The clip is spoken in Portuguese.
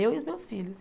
Eu e os meus filhos.